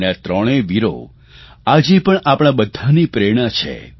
અને આ ત્રણેય વીરો આજે પણ આપણા બધાની પ્રેરણા છે